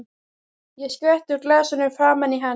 Ég skvetti úr glasinu framan í hann.